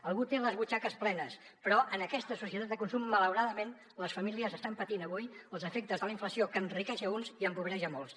algú té les butxaques plenes però en aquesta societat de consum malauradament les famílies estan patint avui els efectes de la inflació que enriqueix a uns i empobreix a molts